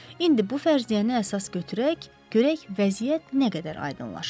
İndi bu fərziyyəni əsas götürək, görək vəziyyət nə qədər aydınlaşır.